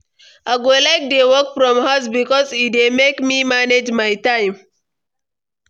I go like dey work from house bikos e dey make me manage my time.